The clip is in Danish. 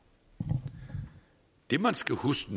man skal huske